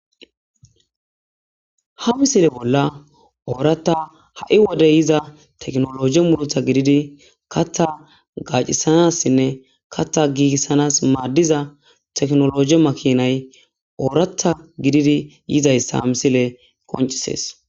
ha misile bolla ooratta ha7i wode yiza teknologe mulotha gididi katha gaacisanassinne kattha giigissanas maaddiza teknologe makinay ooratha gididi yizayssa misile qoncisees